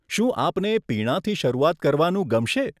શું આપને પીણાથી શરૂઆત કરવાનું ગમશે?